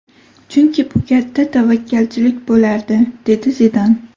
Chunki bu katta tavakkalchilik bo‘lardi”, – dedi Zidan.